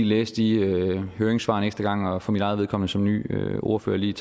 læse de høringssvar en ekstra gang og for mit eget vedkommende som ny ordfører lige